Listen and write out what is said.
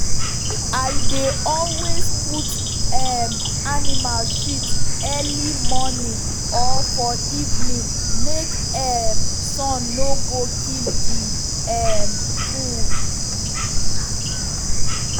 i dey always put um animal shit early morning or for evening make um sun no go kill the um food.